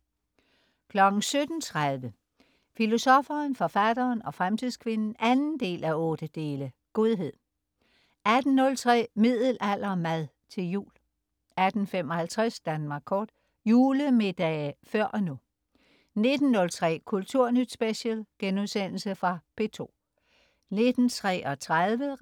17.30 Filosoffen, forfatteren og fremtidskvinden 2:8. Godhed 18.03 Middelaldermad til jul 18.55 Danmark kort. Julemiddage før og nu 19.03 Kulturnyt Special.* Genudsendelse fra P2 19.33